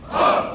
Sol!